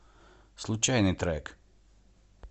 случайный трек